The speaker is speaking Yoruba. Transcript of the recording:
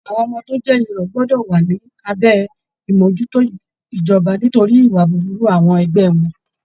Àwọn ọmọ tó jẹ́ irọ̀ gbọ́dọ̀ wà lábẹ́ àmójútó ijoba nítorí ìwà búburú àwọn ẹgbẹ́ wọn